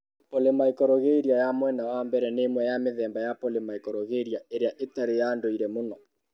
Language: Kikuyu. Polymicrogyria ya mwena wa mbere nĩ ĩmwe ya mĩthemba ya polymicrogyria ĩrĩa ĩtarĩ ya ndũire mũno.